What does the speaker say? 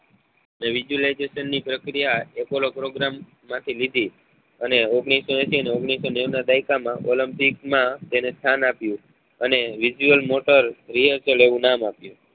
જે visualisation ની પ્રક્રિયા તેના apollo program માં થી લીધી અને ઓગણીસો એસી અને ઓગણીસો નેવું ના દાયકા માં olympic માં તેને સ્થાન આપ્યું અને visual motor rehearsal એવું નામ આપ્યું